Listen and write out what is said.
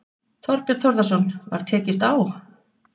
Þorbjörn Þórðarson: Var tekist á?